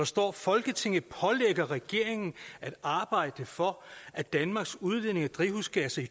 står folketinget pålægger regeringen at arbejde for at danmarks udledning af drivhusgasser i